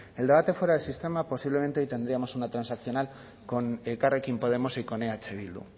el debate fuera el sistema posiblemente hoy tendríamos una transaccional con elkarrekin podemos y con eh bildu